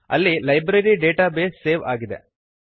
ಅಲ್ಲಿ library database save ಆಗಿದೆ